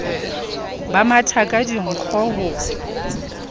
ba matha ka dinkgo ho